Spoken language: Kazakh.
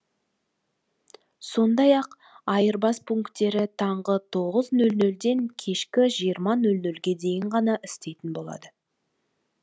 сондай ақ айырбас пунктері таңғы тоғыз нөл нөлден кешкі жиырма нөл нөлге дейін ғана істейтін болады